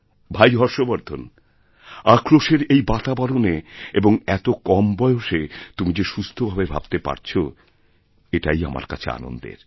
ভাই হর্ষবর্ধন আক্রোশেরএই বাতাবরণে এবং এত কম বয়সে তুমি যে সুস্থভাবে ভাবতে পারছ এটাই আমার কাছেআনন্দের